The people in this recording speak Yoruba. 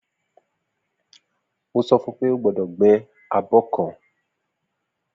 Mo sofún pé ogbọ́dọ̀ gbé abó kan